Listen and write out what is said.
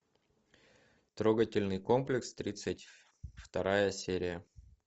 трогательный комплекс тридцать вторая серия